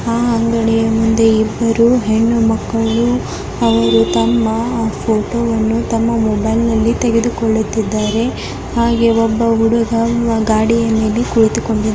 ಅಂಗಡಿಯ ಮುಂದೆ ಇಬ್ಬರು ಹೆಣ್ಣು ಮಕ್ಕಳು ಅವರು ತಮ್ಮ ಫೋಟೋವನ್ನು ತಮ್ಮ ಮೊಬೈಲ್ ನಲ್ಲಿ ತೆಗೆದುಕೊಳ್ಳುತ್ತಿದ್ದಾರೆ ಹಾಗೆ ಒಬ್ಬ ಹುಡುಗ ಗಾಡಿಯಲ್ಲಿ ಕುಳಿತುಕೊಂಡಿದ್ದಾನೆ.